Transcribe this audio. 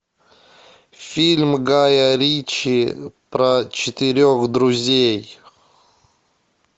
фильм гая ричи про четырех друзей